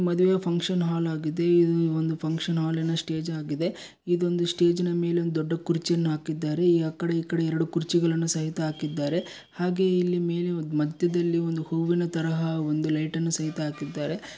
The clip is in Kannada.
ಮಾದುವೆ ಫಂಕ್ಷನ್ ಹಾಲ್ ಆಗಿದೆ ಇದು ಫಂಕ್ಷನ್ ಹಾಲಿನ ಸ್ಟೇಜ್ ಆಗಿದೆ ಇದೊಂದು ಸ್ಟೇಜಿನ ಮೇಲೊಂದು ದೊಡ್ದು ಕುರ್ಚಿಯನ್ನು ಹಾಕಿದ್ದಾರೆ ಆಕಡೆ ಈಕಡೆ ಎರೆಡು ಕುರ್ಚಿಗಳನ್ನು ಸಹಿತ ಹಾಕಿದ್ದಾರೆ ಹಾಗೆ ಇಲ್ಲಿ ಮೇಲೆ ಮಧ್ಯದಲ್ಲಿ ಒಂದು ಹೂವ್ವಿನ ತರಹ ಒಂದು ಲೈಟನ್ನು ಸಹಿತ ಹಾಕಿದ್ದಾರೆ.